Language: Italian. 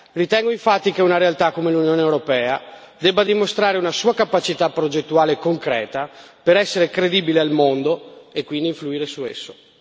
Ritengo infatti che una realtà come l'Unione europea debba dimostrare una sua capacità progettuale e concreta per essere credibile nel mondo e quindi influire su esso.